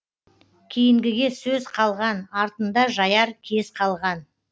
кейінгіге сөз қалған артында жаяр кез қалған